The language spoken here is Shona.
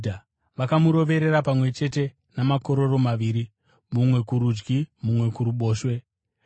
Vakamuroverera pamwe chete namakororo maviri, mumwe kurudyi uye mumwe kuruboshwe.